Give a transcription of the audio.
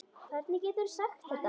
Hvernig geturðu sagt þetta?